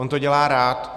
On to dělá rád.